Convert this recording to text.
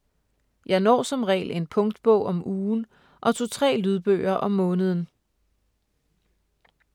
Jeg når som regel en punktbog om ugen og to-tre lydbøger om måneden.